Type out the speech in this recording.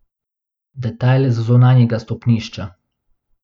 Detajl z zunanjega stopnišča.